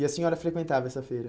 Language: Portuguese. E a senhora frequentava essa feira?